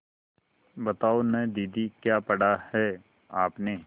बताओ न दीदी क्या पढ़ा है आपने